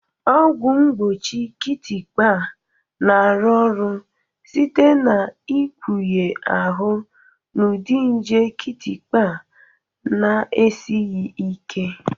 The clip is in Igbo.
Ọgwụ mgbochi kịtịkpa na-arụ ọrụ site n'ikpughe ahụ n'ụdị nje kịtịkpa na-esighị ike.